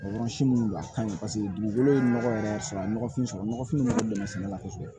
Yɔrɔ si minnu a kaɲi paseke dugukolo ye nɔgɔ yɛrɛ y'a sɔrɔ a ye nɔgɔfin sɔrɔ nɔgɔfin nɔgɔ sɛnɛ la